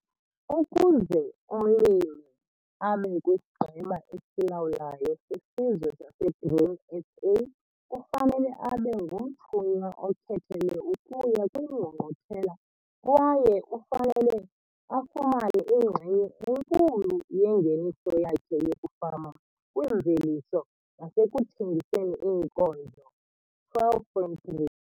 Ukuze umlimi abe kwisiGqeba esiLawulayo seSizwe saseGrain SA ufanele abe ngumthunywa okhethelwe ukuya kwiNgqungquthela kwaye ufanele 'afumane inxenye enkulu yengeniso yakhe yokufama kwimveliso nasekuthengiseni iinkozo. 12 point 3.